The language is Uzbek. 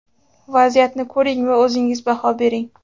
Vaziyatni ko‘ring va o‘zingiz baho bering.